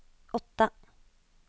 åtte